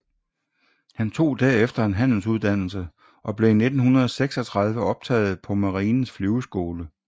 Han tog derefter en handelsuddannelse og blev i 1936 optaget på Marinens Flyveskole